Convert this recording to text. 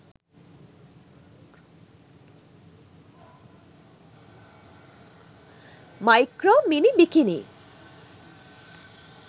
micro mini bikini